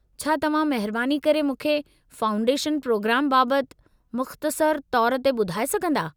छा तव्हां महिरबानी करे मूंखे फाउंडेशन प्रोग्राम बाबति मुख़्तसर तौरु ते ॿुधाए सघन्दा?